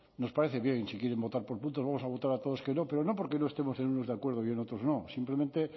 nos parece bien si quieren votar por puntos vamos a votar a todos que no pero no porque no estemos en unos de acuerdo y en otros no simplemente